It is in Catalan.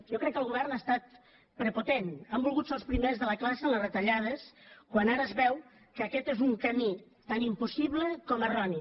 jo crec que el govern ha estat prepotent han volgut ser els primers de la classe amb les retallades quan ara es veu que aquest és un camí tan impossible com erroni